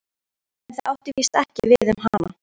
En það átti víst ekki við um hana.